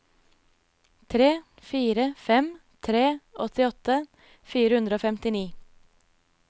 tre fire fem tre åttiåtte fire hundre og femtini